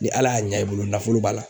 Ni Ala y'a ɲa i bolo nafolo b'a la.